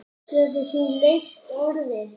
Getur þú leyst orðin?